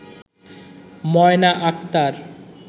Moyna Akter